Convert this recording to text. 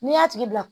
N'i y'a tigi bila